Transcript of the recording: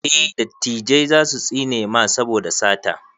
eh dattijai zasu tsine mana saboda sata